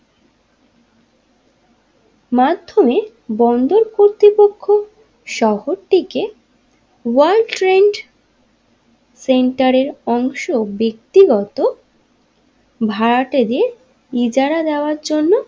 মাধ্যমে বন্দর কর্তৃপক্ষ ওয়ার্ল্ড ট্রেড সেন্টারের অংশ ব্যক্তিগত ভাড়াটে দেড় ইজারা দেওয়ার জন্য।